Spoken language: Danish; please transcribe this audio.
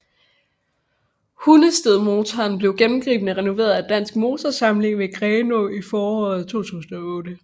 Hundestedmotoren blev gennemgribende renoveret af Dansk Motorsamling ved Grenå i foråret 2008